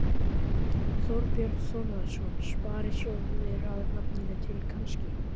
Þorbjörn Þórðarson: Sparisjóðir að nafninu til, kannski?